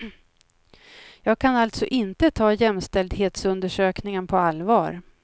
Jag kan alltså inte ta jämställdhetsundersökningen på allvar.